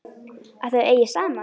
Að þau eigi saman.